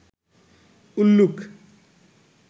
উল্লুক